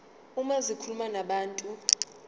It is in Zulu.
uma zikhuluma nabantu